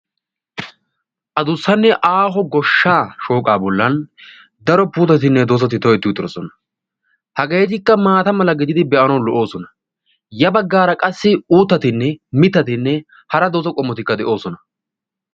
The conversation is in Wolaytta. Adussanne aaho goshshaa shooqaa bollan daro puutettinne dozatti toheti uttiddossona. Hageetikka maata mala gididi be'anawu lo'oosona. Ya baggaara qassi uutattinne mitattinne hara doza qommotikka de"oosona.